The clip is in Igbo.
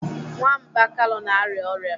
Nwamba Kalu na-arịa ọrịa.